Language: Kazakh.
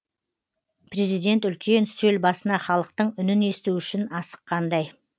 президент үлкен үстел басына халықтың үнін есту үшін асыққандай